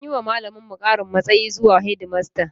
An yi wa malaminmu ƙarin matsayi zuwa shedimasta